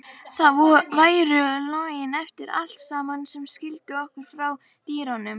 Það væru lögin eftir allt saman sem skildu okkur frá dýrunum.